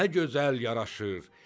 nə gözəl yaraşır,